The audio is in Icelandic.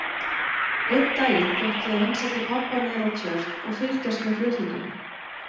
Einn daginn fékk ég að heimsækja pabba niðrá Tjörn og fylgjast með flutningunum.